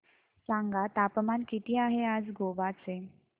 सांगा तापमान किती आहे आज गोवा चे